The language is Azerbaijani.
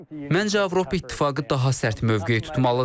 Məncə Avropa İttifaqı daha sərt mövqe tutmalıdır.